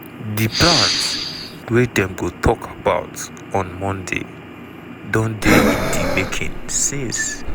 di plans wey dem go tok about on monday don dey in di making since.